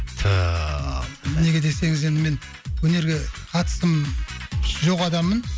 так неге десеңіз енді мен өнерге қатысым жоқ адаммын